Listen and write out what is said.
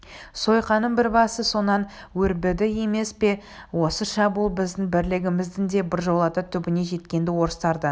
сойқанның бір басы сонан өрбіді емес пе осы шабуыл біздің бірлігіміздің де біржолата түбіне жеткен-ді орыстардан